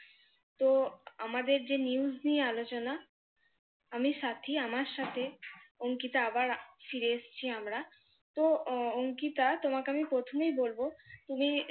তো আমাদের যে news আলোচনা, আমি সাথী আমার সাথে অংকিতা আবার ফিরে এসেছি আমরা। তো অংকিতা তোমাকে আমি প্রথমেই বলবো, তুমি